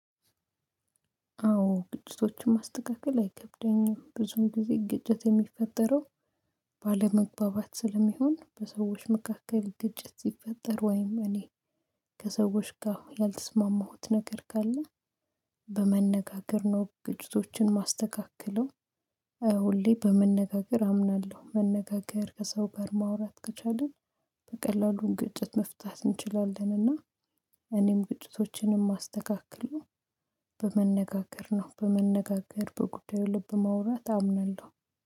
አዎ ግጭቶችን ማስተካከል አይከብደኝም። ብዙም ጊዜ ግጭት የሚፈጠረው ስለሚሆን በሰዎች መካከል ግጭት ሲፈጠር ወይም እኔ ከሰዎች ጋር ያልተስማማሁት ነገር ካለ በመነጋገር ነው። ግጭቶችን ማስተካከለው ሁሌ በመነጋገር አምናለሁ። መነጋገር ከሰው ጋር ማውራት ከቻልን በቀላሉ ግጭት መፍታት እንችላለንና። እኔም ግጭቶቼንም አስተካክለው በመነጋገር ነው። በመነጋገር በጉዳዩ ልብ ማውራት አምናለሁ